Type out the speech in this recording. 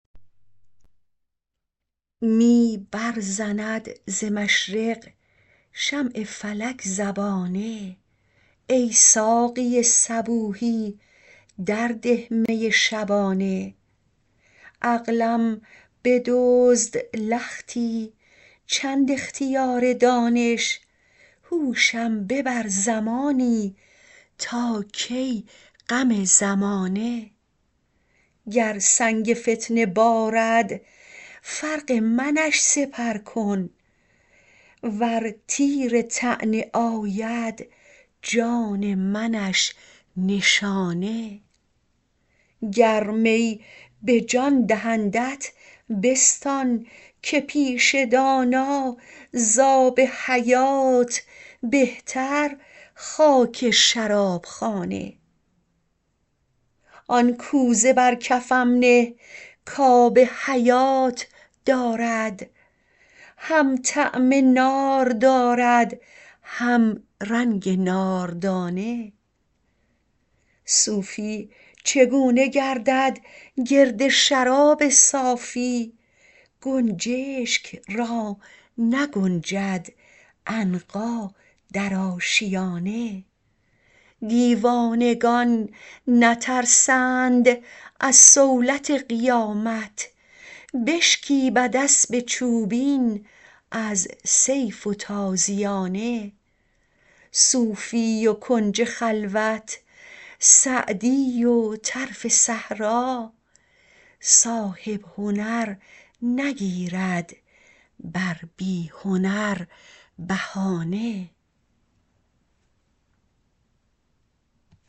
می برزند ز مشرق شمع فلک زبانه ای ساقی صبوحی در ده می شبانه عقلم بدزد لختی چند اختیار دانش هوشم ببر زمانی تا کی غم زمانه گر سنگ فتنه بارد فرق منش سپر کن ور تیر طعنه آید جان منش نشانه گر می به جان دهندت بستان که پیش دانا زآب حیات بهتر خاک شراب خانه آن کوزه بر کفم نه کآب حیات دارد هم طعم نار دارد هم رنگ ناردانه صوفی چگونه گردد گرد شراب صافی گنجشک را نگنجد عنقا در آشیانه دیوانگان نترسند از صولت قیامت بشکیبد اسب چوبین از سیف و تازیانه صوفی و کنج خلوت سعدی و طرف صحرا صاحب هنر نگیرد بر بی هنر بهانه